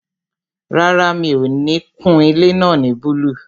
Rárá, mi ò ní kun ilé náà ní búlúù